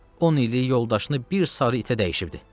On illik yoldaşını bir sarı itə dəyişibdi.